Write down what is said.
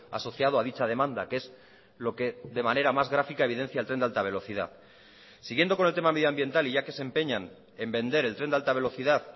asociado a dicha demanda que es lo que de manera más grafica evidencia el tren de alta velocidad siguiendo con el tema medioambiental y ya que se empeñan en vender el tren de alta velocidad